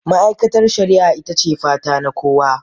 Ma'aikatar shari'a ita ce fata na kowa.